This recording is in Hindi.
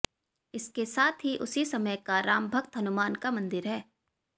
इसके साथ ही उसी समय का रामभक्त हनुमान का मंदिर है